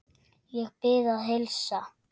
Ég bið að heilsa.